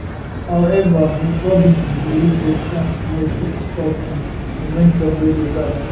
however ms robinson believe say trump no fit stop di momentum wey dey gada